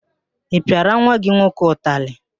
Ị pịala nwa gị nwoke utalị?